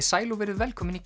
sæl og verið velkomin í